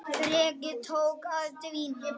Þrekið tók að dvína.